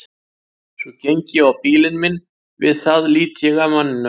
Svo geng ég á bílinn minn og við það lít ég af manninum.